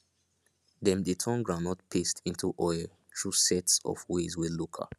dem dey turn groundnut paste into oil through sets of ways wey local